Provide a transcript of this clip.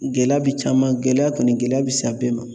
Gɛlɛya bi caman gɛlɛya kɔni gɛlɛya bi san bɛɛ ma